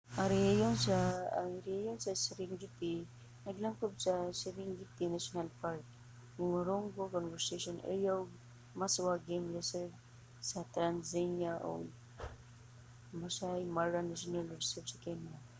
ang rehiyon sa serengeti naglangkob sa serengeti national park ngorongoro conservation area ug maswa game reserve sa tanzania ug maasai mara national reserve sa kenya